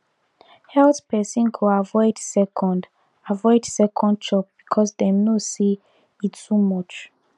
health person go avoid second avoid second chop because dem know say e too much